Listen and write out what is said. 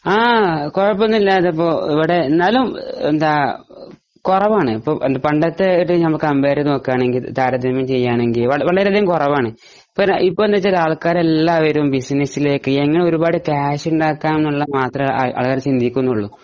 കുഴപ്പന്നുമില്ല എവിടെ എന്നാലും എന്താ കുറവാണ് പണ്ടത്തെ ഇത് താരതമ്മ്യം നോക്കുകയാണെകിൽ വളരെ അതികം കുറവാണ് ഇപ്പൊ എന്താണെന്നുവച്ചാൽ ആൾകാർ എല്ലാവരും ബസ്സിനെസ്സിലേക്ക് എങ്ങനെ കുറെ ക്യാഷ് ഉണ്ടാകാം എന്നത് ആൾകാർ ചിന്തിക്കുന്നുള്ളു